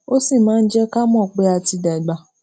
ó sì máa ń jé ká mò pé a ti dàgbà